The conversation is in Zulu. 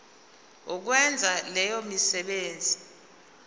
ukwenza leyo misebenzi